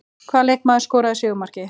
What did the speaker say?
Hvaða leikmaður skoraði sigurmarkið?